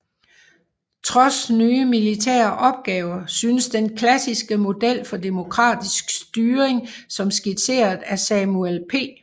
Trods nye militære opgaver synes den klassiske model for demokratisk styring som skitseret af Samuel P